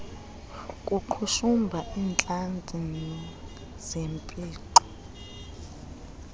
kuqhushumba iintlantsi zempixo